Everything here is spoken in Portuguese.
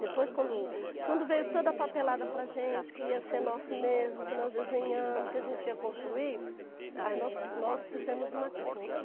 Depois, quando quando veio toda a papelada para a gente, que ia ser nosso mesmo, que nós desenhamos, que a gente ia construir, aí nós fizemos uma creche.